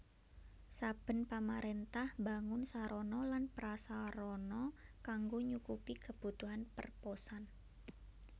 Saben pamaréntah mbangun sarana lan prasarana kanggo nyukupi kebutuhan perposan